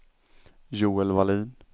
Joel Wallin